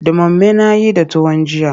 Ɗumame na yi da tuwon jiya.